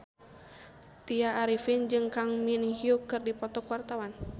Tya Arifin jeung Kang Min Hyuk keur dipoto ku wartawan